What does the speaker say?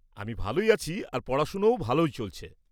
-আমি ভালোই আছি আর পড়াশোনাও ভালো চলছে।